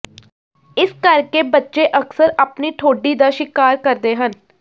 ਇਸ ਕਰਕੇ ਬੱਚੇ ਅਕਸਰ ਆਪਣੀ ਠੋਡੀ ਦਾ ਸ਼ਿਕਾਰ ਕਰਦੇ ਹਨ